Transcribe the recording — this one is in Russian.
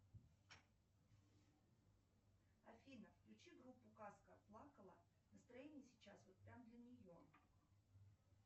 афина включи группу казка плакала настроение сейчас вот прям для нее